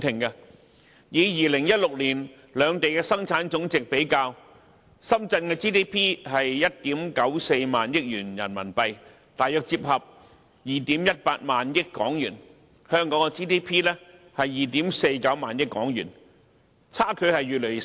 以2016年為例，深圳的本地生產總值是1億 9,400 萬元人民幣，大約折算為2億 1,800 萬港元，而香港的 GDP 則是2億 4,900 萬港元，相距越來越少。